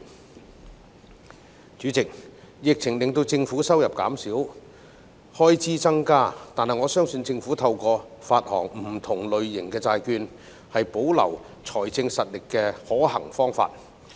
代理主席，疫情令政府收入減少，開支增加，但我相信政府發行不同類型的債券，是保留財政實力的可行方法。